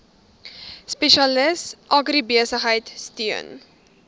spesialis agribesigheid steun